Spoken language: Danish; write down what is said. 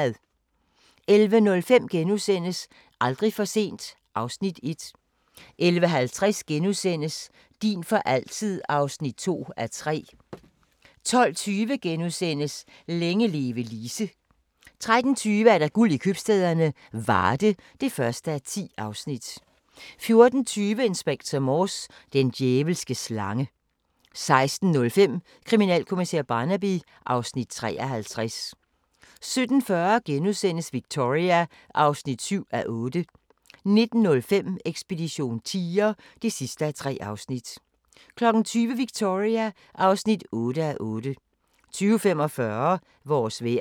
11:05: Aldrig for sent (Afs. 1)* 11:50: Din for altid (2:3)* 12:20: Længe leve Lise * 13:20: Guld i købstæderne - Varde (1:10) 14:20: Inspector Morse: Den djævelske slange 16:05: Kriminalkommissær Barnaby (Afs. 53) 17:40: Victoria (7:8)* 19:05: Ekspedition tiger (3:3) 20:00: Victoria (8:8) 20:45: Vores vejr